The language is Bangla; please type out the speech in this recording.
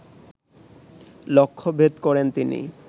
লক্ষ্যভেদ করেন তিনি